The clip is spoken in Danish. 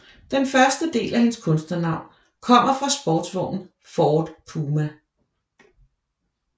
Den første del af hendes kunstnernavn kommer fra sportsvognen Ford Puma